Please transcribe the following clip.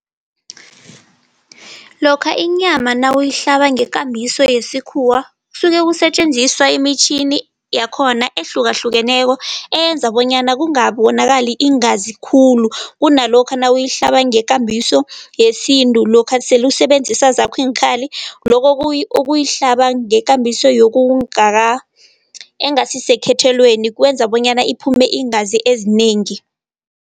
Lokha inyama nawuyihlaba ngekambiso yesikhuwa kusuke kusetjenziswa emitjhini yakhona ehlukahlukeneko eyenza bonyana kungabonakali iingazi khulu. Kunalokha nawuyihlaba ngekambiso yesintu, lokha sele usebenzisa zakho iinkhali. Lokho ukuyihlaba ngekambiso yokungaka engasisekhethweni kwenza bonyana iphume iingazi ezinengi.